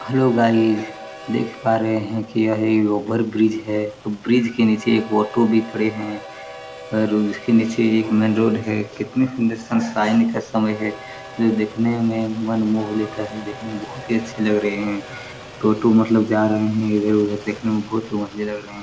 Hello guys देख पा रहे है की ये ओवर ब्रिज है ब्रिज के नीचे ऑटो भी खड़े है और उसके नीचे एक मैन रोड है कितनी सुंदर सनशाइन का समय है जो देखने में मन मोह लेता है देखने में बहुत ही अच्छे लग रहे है ऑटो मतलब जा रहे है इधर उधर देखने में बहुत ही मजे लग रहे है।